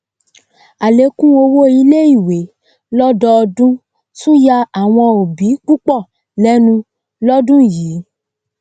àlékún owó iléìwé lọdọdún tún yà àwọn òbí púpọ lẹnu lódún yìí